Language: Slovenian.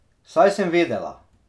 Saj sem vedela.